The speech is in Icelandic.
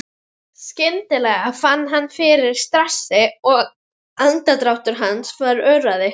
Skyndilega fann hann fyrir stressi og andardráttur hans varð örari.